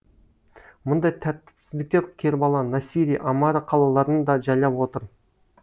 мұндай тәртіпсіздіктер кербала насирия амара қалаларын да жайлап отыр